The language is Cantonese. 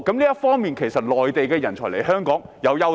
從這方面來看，內地人才來港也有優勢。